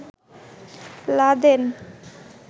Laden